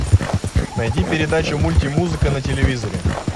найди передачу мультимузыка на телевизоре